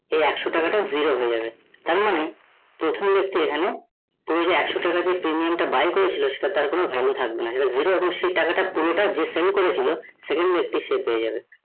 এই একশো টাকাটা zero হয়ে যাবে এমনি প্রথম ব্যাক্তি এখানে একসো টাকাটা দিয়ে premium টা buy করেছিল সেটা তার কোন value থাকবে না সে টাকাটা পুরোটা যে sell করেছে second ব্যক্তি পেয়ে যাবে